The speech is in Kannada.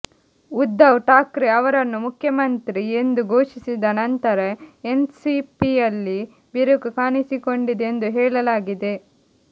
ಉದ್ಧವ್ ಠಾಕ್ರೆ ಅವರನ್ನು ಮುಖ್ಯಮಂತ್ರಿ ಎಂದು ಘೋಷಿಸಿದ ನಂತರ ಎನ್ಸಿಪಿಯಲ್ಲಿ ಬಿರುಕು ಕಾಣಿಸಿಕೊಂಡಿದೆ ಎಂದು ಹೇಳಲಾಗಿದೆ